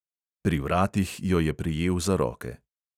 Pri vratih jo je prijel za roke.